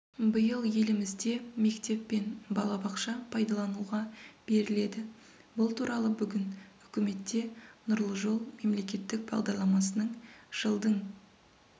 биыл елімізде мектеп пен балабақша пайдалануға беріледі бұл туралы бүгін үкіметте нұрлы жол мемлекеттік бағдарламасының жылдың